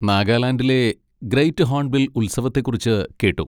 നാഗാലാൻഡിലെ great hornbill ഉത്സവത്തെ കുറിച്ച് കേട്ടു.